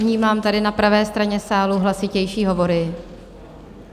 Vnímám tady na pravé straně sálu hlasitější hovory.